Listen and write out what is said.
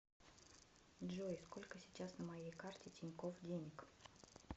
джой сколько сейчас на моей карте тинькофф денег